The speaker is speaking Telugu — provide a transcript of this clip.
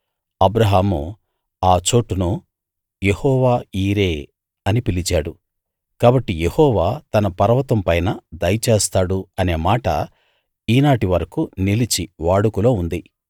అబ్రాహాము ఆ చోటును యెహోవా యీరే అని పిలిచాడు కాబట్టి యెహోవా తన పర్వతం పైన దయచేస్తాడు అనే మాట ఈ నాటి వరకూ నిలిచి వాడుకలో ఉంది